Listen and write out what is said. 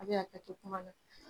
A bɛ hakɛto kuma la.